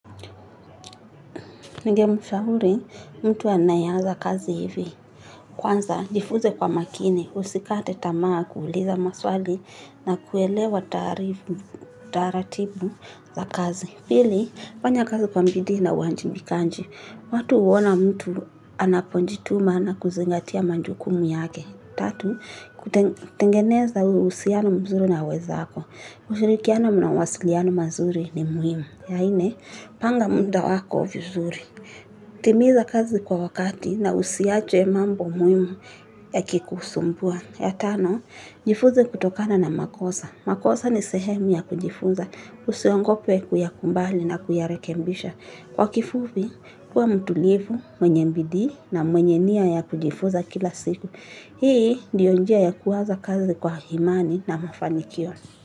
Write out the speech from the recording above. Nigemshauri, mtu anaye anza kazi hivi. Kwanza, jifuze kwa makini, usikate tamaa kuhuliza maswali na kuelewa taratibu za kazi. Pili, fanya kazi kwa bidii na uwajibikaji. Watu huona mtu anapojituma na kuzingatia majukumu yake. Tatu, kutengeneza uhusiano mzuri na wenzako. Ushirikiano na mawasiliano mazuri ni muhimu. Ya nne, panga muda wako vizuri. Timiza kazi kwa wakati na usiache mambo muhimu yakikusumbua. Ya tano, jifuze kutokana na makosa. Makosa ni sehem ya kujifuza. Usiogope kuyakubali na kuyarekembisha. Kwa kifupi, kuwa mtulivu, mwenye bidii na mwenye nia ya kujifuza kila siku. Hii ndiyo njia ya kuaza kazi kwa imani na mafanikio.